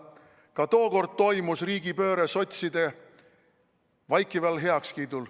Ka tookord toimus riigipööre sotside vaikival heakskiidul.